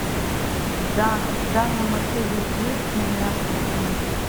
в данном отеле есть номера с балконом